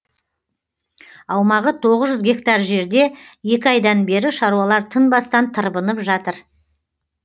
аумағы тоғыз жүз гектар жерде екі айдан бері шаруалар тынбастан тырбынып жатыр